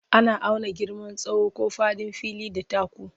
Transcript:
Ana auna girman tsawo ko faɗin fili da taku.